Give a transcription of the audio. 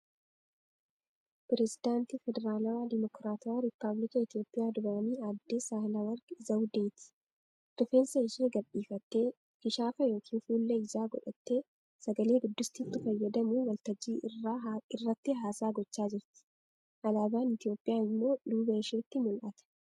Pirezedaantii Federaalawaa Dimokiraatawaa Ripaabilika Itiyoophiyaa duraanii aadde Saahilewarq Zawudeeti. Rifeensa ishee gad dhiifattee, kishaafa yookiin fuullee ijaa godhattee, sagale-guddistuutti fayyadamuun waltajjii irratti haasaa gochaa jirti. Alaabaan Itiyoophiyaa immoo duuba isheetiin mul'ata.